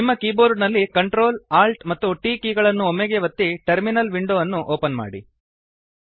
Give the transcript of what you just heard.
ನಿಮ್ಮ ಕೀಬೋರ್ಡ ನಲ್ಲಿ Ctrl Alt ಮತ್ತು T ಕೀ ಗಳನ್ನು ಒಮ್ಮೆಗೇ ಒತ್ತಿ ಟರ್ಮಿನಲ್ ವಿಂಡೊ ಅನ್ನು ಓಪನ್ ಮಾಡಿ